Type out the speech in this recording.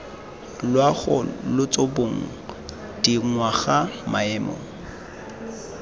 loago lotso bong dingwaga maemo